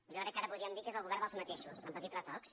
jo crec que ara podríem dir que és el govern dels mateixos amb petits retocs